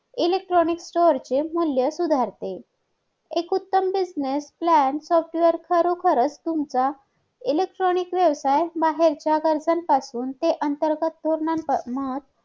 electronic चे वरचे मूल्य सुधारते एक उत्तम business plan software खरोखरच तुमचा electronic व्यवसाय बाहेरच्या पासून ते अंतर्गत धोरणा